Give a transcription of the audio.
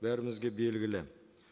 бәрімізге белгілі